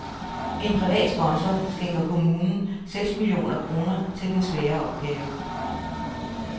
En privat sponsor skænker kommunen seks millioner kroner til den svære opgave.